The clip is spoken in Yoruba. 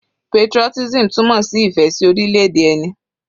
Patriotism túmọ̀ sí ìfẹ́ sí orílẹ̀-èdè ẹni.